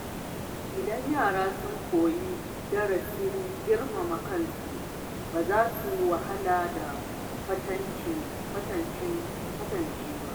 Idan yara sun koyi darasin girmama kansu, ba za su wahala da kwatance ba.